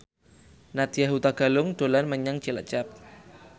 Nadya Hutagalung dolan menyang Cilacap